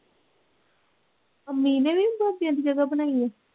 ਅੰਮੀ ਨੇ ਵੀ ਦੋ ਤਿੰਨ ਦੀ ਜਗ੍ਹਾ ਬਣਾਈ ਹੈ।